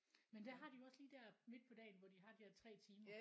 Men der har de jo også lige der midt på dagen hvor de har de der 3 timer